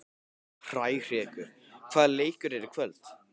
Hrærekur, hvaða leikir eru í kvöld?